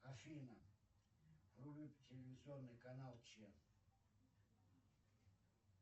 афина вруби телевизионный канал че